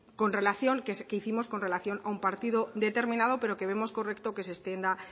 con relación que hicimos con relación a un partido determinado pero que vemos correcto que se extienda